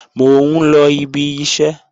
Mò ń lọ ibi iṣẹ́